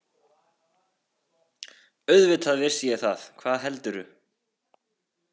Auðvitað vissi ég það, hvað heldurðu!